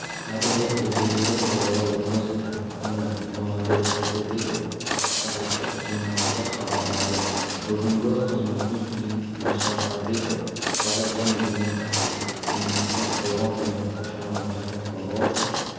кадрлық өзгерістер туралы облыс әкімі нұрмұхамбет әбдібеков аппараттық жиналыста хабарлады бүгінгі қызметіне дейін мұсапарбеков қазатомөнеркәсіп еңбекті қорғау және қоршаған ортаны қорғау